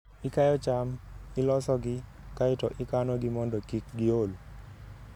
Ikayo cham, ilosogi, kae to ikanogi mondo kik giol.